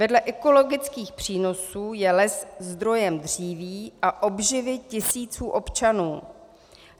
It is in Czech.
Vedle ekologických přínosů je les zdrojem dříví a obživy tisíců občanů.